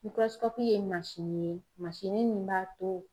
ye ye min b'a to